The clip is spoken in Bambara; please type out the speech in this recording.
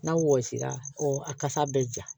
N'a wɔsira a kasa bɛ ja